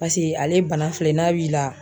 Paseke ale bana filɛ n'a b'i la.